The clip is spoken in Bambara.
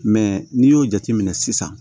n'i y'o jateminɛ sisan